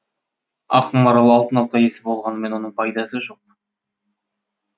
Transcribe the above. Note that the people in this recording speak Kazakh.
ақмарал алтын алқа иесі болғанымен оның пайдасы жоқ